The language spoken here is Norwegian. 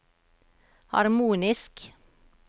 harmonisk